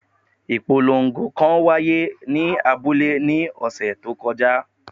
Ipolongo kan wa ye ni abule ni ọsẹ to koja